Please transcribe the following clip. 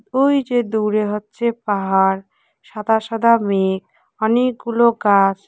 ওই যে দূরে হচ্ছে পাহাড় সাদা সাদা মেঘ অনেকগুলো গাস ।